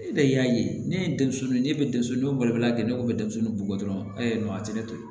E de y'a ye ne ye denmisɛnnin ye ne bɛ denmisɛn dɔw balikuya kɛ ne ko bɛ denmisɛnw bugɔ dɔrɔn a tɛ ne to yen